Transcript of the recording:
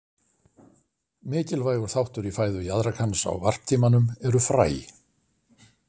Mikilvægur þáttur í fæðu jaðrakans á varptímanum eru fræ.